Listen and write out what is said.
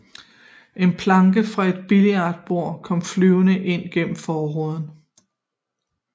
En planke fra et billboard kom flyvende ind gennem forruden